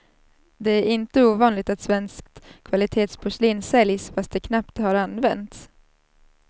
Det är inte ovanligt att svenskt kvalitetsporslin säljs, fast det knappt har använts.